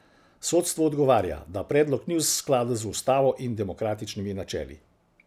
Sodstvo odgovarja, da predlog ni v skladu z ustavo in demokratičnimi načeli.